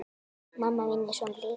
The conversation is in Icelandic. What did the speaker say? Mamma mín er svona líka.